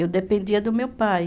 Eu dependia do meu pai.